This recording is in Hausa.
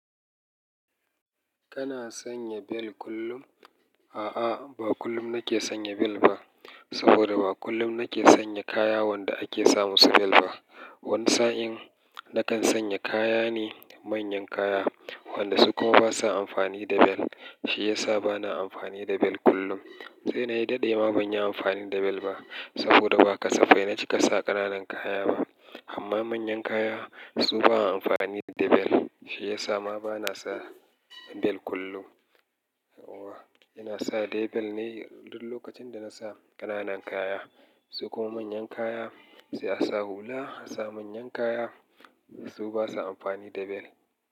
Kana sanya bel kullum? A'a, ba kullum nake sanya bel ba. Saboda ba kullum nake sanya kaya wanda ake sa musu bel ba. Wani sa'in nakan sanya kaya ne manyan kaya, wanda su kuma basa amfani da bel. Shi yasa bana amfani da bel kullum. Sai nayi daɗe ma banyi amfani da bel ba. Saboda ba kasafai na cika sa ƙananan kaya ba. Amma manyan kaya su baa amfani da bel. Shi yasa ma bana sa bel kullum. Ina sa da bel ne duk lokacin da nasa ƙananan kaya. Su kuma manyan kaya, sai asa hula. Asa manyan kaya su basa amfani da bel.